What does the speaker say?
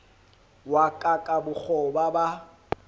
wa ka ka bokgoba ba